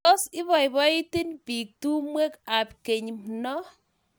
Tos ibaibait pik tumwek ap kenyi no.